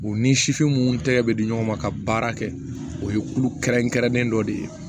U ni sifin mun tɛgɛ bɛ di ɲɔgɔn ma ka baara kɛ o ye kulu kɛrɛnkɛrɛnnen dɔ de ye